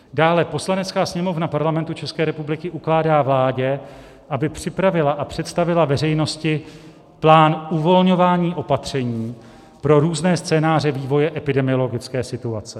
Dále: Poslanecká sněmovna Parlamentu České republiky ukládá vládě, aby připravila a představila veřejnosti plán uvolňování opatření pro různé scénáře vývoje epidemiologické situace.